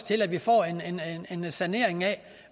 til at vi får en sanering af